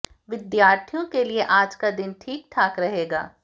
विद्यार्थियों के लिए आज का दिन ठीक ठाक रहेगा